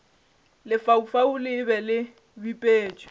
lefaufau le be le bipetšwe